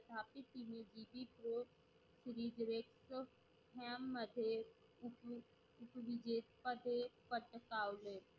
पूर्वी grek ह्या मध्ये उप उपवेजे पदे पदकावले.